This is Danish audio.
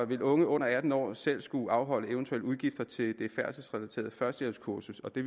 vil unge under atten år selv skulle afholde eventuelle udgifter til det færdselsrelaterede førstehjælpskursus og det